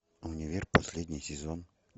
универ последний сезон